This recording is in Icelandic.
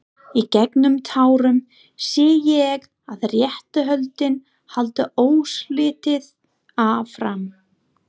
Í gegnum tárin sé ég að réttarhöldin halda óslitið áfram.